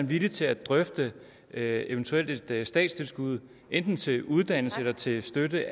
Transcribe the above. villig til at drøfte et eventuelt statstilskud enten til uddannelse eller til støtte